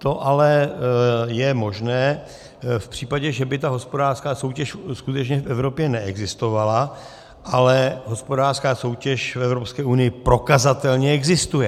To ale je možné v případě, že by ta hospodářská soutěž skutečně v Evropě neexistovala, ale hospodářská soutěž v Evropské unii prokazatelně existuje.